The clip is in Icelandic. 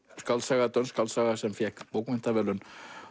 skáldsaga dönsk skáldsaga sem fékk bókmenntaverðlaun